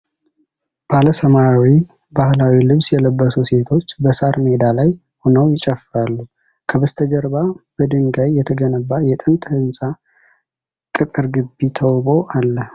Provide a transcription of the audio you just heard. ባለ ሰማያዊ ባህላዊ ልብስ የለበሱ ሴቶች በሣር ሜዳ ላይ ሆነው ይጨፍራሉ። ከበስተጀርባ በድንጋይ የተገነባ የጥንት ህንጻ ቅጥር ግቢ ተውቦ አለ።